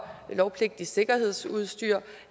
lovpligtigt sikkerhedsudstyr